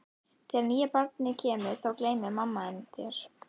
Þegar nýja barnið kemur þá gleymir mamma þín þér.